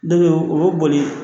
Dɔ be yen o bɛ boli